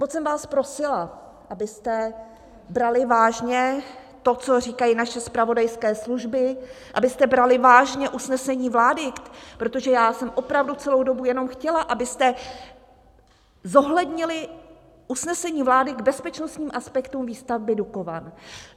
Moc jsem vás prosila, abyste brali vážně to, co říkají naše zpravodajské služby, abyste brali vážně usnesení vlády, protože já jsem opravdu celou dobu jenom chtěla, abyste zohlednili usnesení vlády k bezpečnostním aspektům výstavby Dukovan.